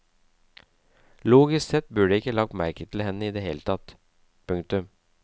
Logisk sett burde jeg ikke lagt merke til henne i det hele tatt. punktum